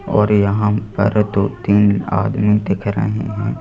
और यहां पर दो-तीन आदमी दिख रहे हैं।